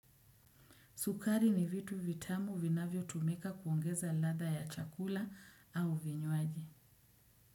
Sukari ni vitu vitamu vinavyo tumika kuongeza ladha ya chakula au vinywaji.